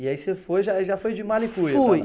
E aí você foi, já já foi de mala e cuia para lá. Fui